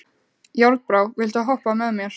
Járnbrá, viltu hoppa með mér?